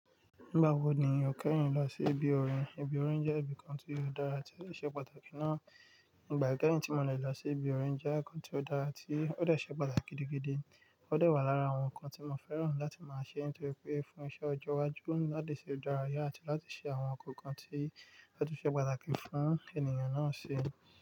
Nígbà wo ni o kẹ́yin lọ sí ibi orin? Ibi orin jẹ́ ibi kan tí yóò dára tí o ṣe pàtàkì ná. Nígbà kẹ́hìn tí mo dè lọ sí ibi orin jẹ́ nǹkan tí ó dára àti ó dẹ̀ ṣẹ́ pàtàkì gidigidi. Ó dẹ̀ wà lára àwọn nǹkan tí mo fẹ́ràn láti máa ṣe nítorí pé fún iṣẹ́ ọjọ́ iwájú, láti ṣe ìdárayá àti láti ṣe àwọn nǹkan tí ó tún ṣe pàtàkì fún ènìyàn náà ṣe.